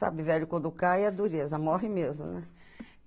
Sabe, velho quando cai é dureza, morre mesmo, né?